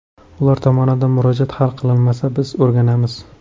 Ular tomonidan murojaat hal qilinmasa biz o‘rganamiz.